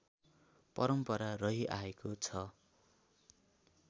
परम्परा रहिआएको छ